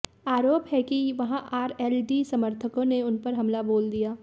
आरोप है कि वहां आरएलडी समर्थकों ने उन पर हमला बोल दिया